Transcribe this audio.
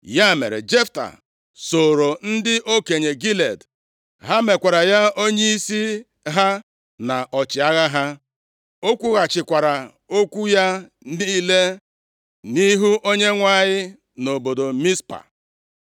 Ya mere, Jefta sooro ndị okenye Gilead, ha mekwara ya onyeisi ha na ọchịagha ha. O kwughachikwara okwu ya niile nʼihu Onyenwe anyị nʼobodo Mizpa.